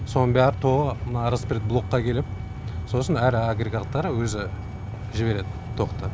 соның бәрі тоғы мына респират блокқа келіп сосын әрі агрегаттар өзі жібереді тоқты